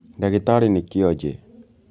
Ndagĩtarĩ nĩ kĩonje